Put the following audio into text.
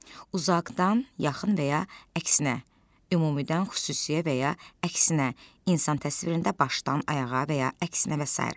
Uzaqdan yaxın və ya əksinə, ümumidən xüsusiyə və ya əksinə, insan təsvirində başdan ayağa və ya əksinə və sair.